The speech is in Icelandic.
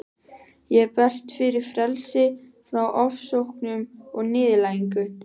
Ég berst fyrir frelsi frá ofsóknum og niðurlægingu.